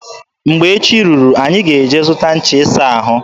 Mgbe echi ruru, anyị ga-eje zụta ncha ịsa ahụ.